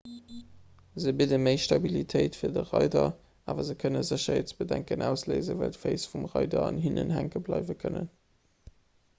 se bidde méi stabilitéit fir de reider awer se kënne sécherheetsbedenken ausléisen well d'féiss vum reider an hinnen hänke bleiwe kënnen